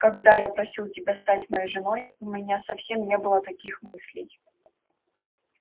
когда я просил тебя стать моей женой у меня совсем не было таких мыслей